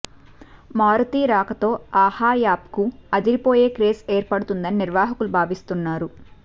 మారుతి రాకతో ఆహా యాప్కు అదిరిపోయే క్రేజ్ ఏర్పడుతుందని నిర్వాహకులు భావిస్తున్నారు